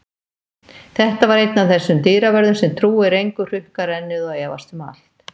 Þetta var einn af þessum dyravörðum sem trúir engu, hrukkar ennið og efast um allt.